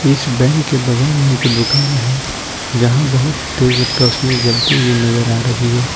इस बैंक के बगल में एक दुकान है जहां बहुत तेज रोशनी जलती हुई नजर आ रही है।